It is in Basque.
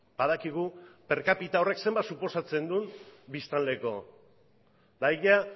badakigu per kapita horrek zenbat suposatzen du biztanleko eta ia